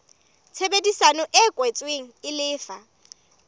tshebedisano e kwetsweng e lefa